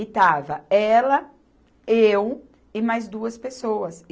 E estava ela, eu e mais duas pessoas.